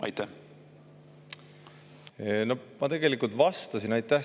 Aitäh selle küsimuse eest!